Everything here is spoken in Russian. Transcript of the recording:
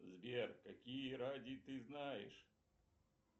сбер какие ради ты знаешь